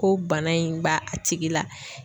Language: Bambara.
Ko bana in b'a tigi la.